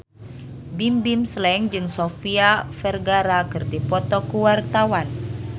Bimbim Slank jeung Sofia Vergara keur dipoto ku wartawan